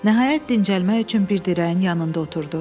Nəhayət, dincəlmək üçün bir dirəyin yanında oturdu.